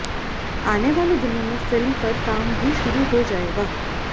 आने वाले दिनों में फिल्म पर काम भी शुरू हो जाएगा